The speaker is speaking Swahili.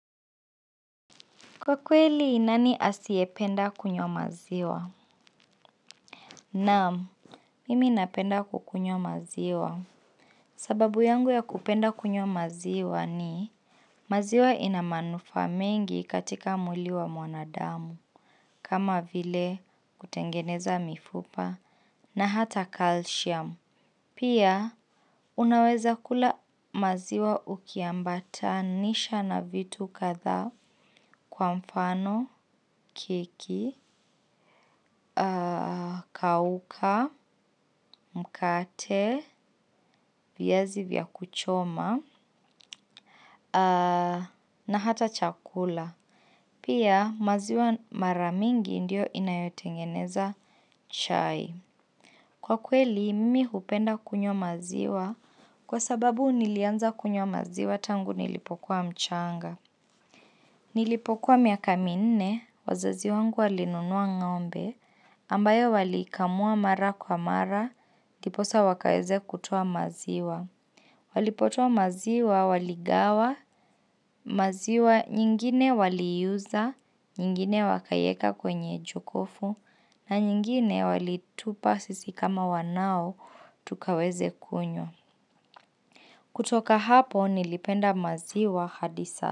Kwa kweli, nani asiyependa kunywa maziwa? Naam, mimi napenda kukunywa maziwa. Sababu yangu ya kupenda kunywa maziwa ni, maziwa ina manufaa mengi katika mwili wa mwanadamu, kama vile kutengeneza mifupa na hata kalsiamu. Pia, unaweza kula maziwa ukiambatanisha na vitu kadha kwa mfano, keki, kauka, mkate, viazi vya kuchoma. Na hata chakula. Pia maziwa mara mingi ndiyo inayotengeneza chai. Kwa kweli, mimi hupenda kunywa maziwa kwa sababu nilianza kunywa maziwa tangu nilipokuwa mchanga. Nilipokuwa miaka minne wazazi wangu walinunua ngombe ambayo walikamua mara kwa mara ndiposa wakaweze kutoa maziwa. Walipotoa maziwa waligawa, maziwa nyingine waliuza. Nyingine wakaweka kwenye jokofu na nyingine walitupa sisi kama wanao. Tukaweze kunywa. Kutoka hapo nilipenda maziwa hadi sa.